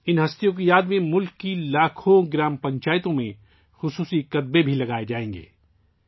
ان عظیم شخصیات کی یاد میں ملک کی لاکھوں گاؤں پنچایتوں میں خصوصی کتبے بھی لگائے جائیں گے